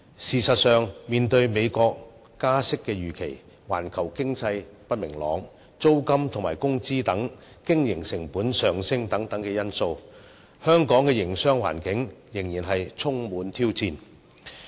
事實上，面對美國加息預期、環球經濟不明朗、租金及工資等經營成本上升等因素，香港的營商環境仍然充滿挑戰。